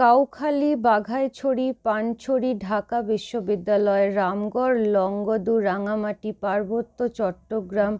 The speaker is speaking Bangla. কাউখালী বাঘাইছড়ি পানছড়ি ঢাকা বিশ্ববিদ্যালয় রামগড় লংগদু রাঙামাটি পার্বত্য চট্টগ্রাম